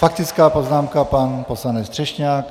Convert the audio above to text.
Faktická poznámka pan poslanec Třešňák.